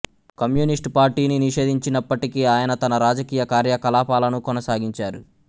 communist పార్టీని నిషేధించినప్పటికీ ఆయన తన రాజకీయ కార్యకలాపాలను కొనసాగించారు